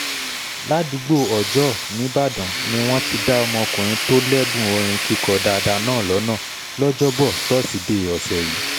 ládùúgbò ọjọ́ọ nìbàdàn ni wọ́n ti dá ọmọkùnrin tó lẹ́bùn orin kíkọ dáadáa náà lọ́nà lọ́jọ́bọ́ tọ́sídeè ọ̀sẹ̀ yìí